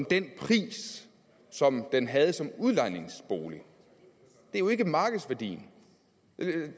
den pris som den havde som udlejningsbolig det er jo ikke markedsværdien